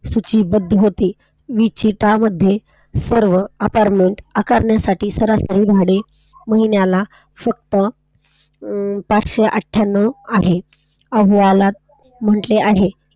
नीचता मध्ये सर्व अपार्टमेंट आकारण्याची भाडे महिनाला फक्त पाचशे अठ्ठयांनव आहे. अहवालात म्हंटले आहे कि शिस्तबद्ध होते.